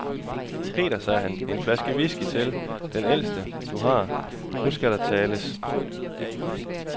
Peter, sagde han, en flaske whisky til, den ældste, du har, nu skal der tales.